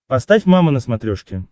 поставь мама на смотрешке